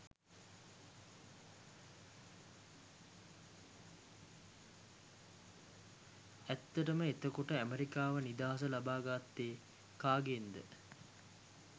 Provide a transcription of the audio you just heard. ඇත්තටම එතකොට ඇමරිකාව නිදහස ලබා ගත්තේ කාගෙන්ද?